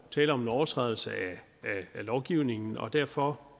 tale om en overtrædelse af lovgivningen og derfor